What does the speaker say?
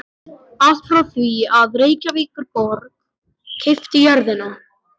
Allt frá því að Reykjavíkurborg keypti jörðina